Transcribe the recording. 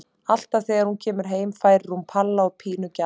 Alltaf þegar hún kemur heim færir hún Palla og Pínu gjafir.